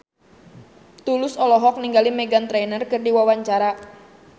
Tulus olohok ningali Meghan Trainor keur diwawancara